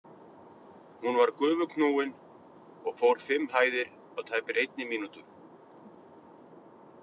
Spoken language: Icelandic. Hún var gufuknúin og fór fimm hæðir á tæpri einni mínútur.